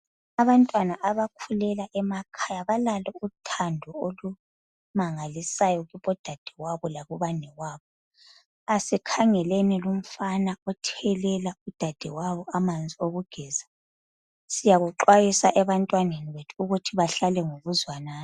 Abantwana abakhulela emakhaya balalo uthando olumangalisayo kubodadewabo lakubanewabo. Asikhangeleni lumfana othelela udadewabo amanzi okugeza. Siyakuxwayisa ebantwaneni bethu ukuthi bahlale ngokuzwanana.